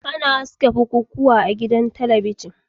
Ana haska bukukuwa ma a gidan talabijin.